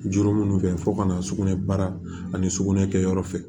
Juru minnu fɛ fo ka na sugunɛ bara ani sugunɛ kɛ yɔrɔ fɛ